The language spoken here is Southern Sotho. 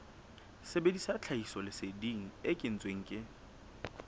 sebedisa tlhahisoleseding e kentsweng ke